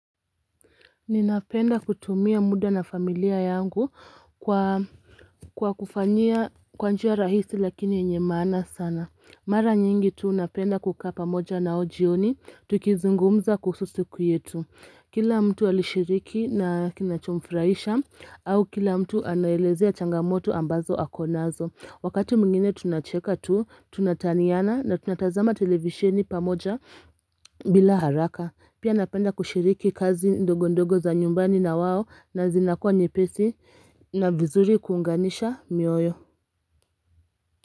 Ninapenda kutumia muda na familia yangu kwa kufanyia kwa njia rahisi lakini yenye maana sana. Mara nyingi tu napenda kukaa pamoja nao jioni. Tukizungumza kuhusu siku yetu. Kila mtu alishiriki na kinachumfurahisha au kila mtu anaelezea changamoto ambazo akonazo Wakati mwingine tunacheka tu, tunataniana na tunatazama televisheni pamoja bila haraka Pia napenda kushiriki kazi ndogo ndogo za nyumbani na wao na zinakuwa nyepesi na vizuri kuunganisha mioyo.